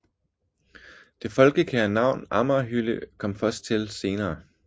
Det folkekære navn amagerhylde kom først til senere